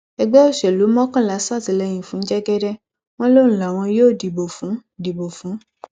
ẹgbẹ òṣèlú mọkànlá ṣàtìlẹyìn fún jẹgẹdẹ wọn lòun làwọn yóò dìbò fún dìbò fún